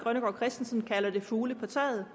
fugle på taget